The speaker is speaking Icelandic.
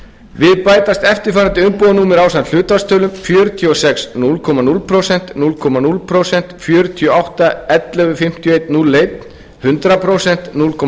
við bætast eftirfarandi umbúðanúmer ásamt hlutfallstölum fjörutíu og sex núll komma núll prósent núll komma núll prósent fjörutíu og átta ellefu fimmtíu og einn núll einn hundrað prósent núll komma